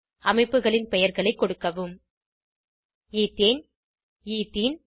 அமைப்புகளின் பெயர்களை கொடுக்கவும் எத்தேன் எத்தேனே